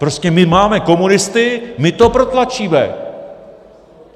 Prostě my máme komunisty, my to protlačíme.